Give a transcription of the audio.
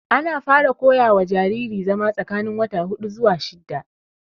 Ana fara koya wa jariri zama tsakanin wata hudu zuwa shidda